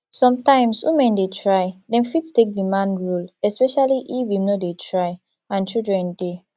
sometimes women dey try dem fit take di man role especially if im no dey try and children dey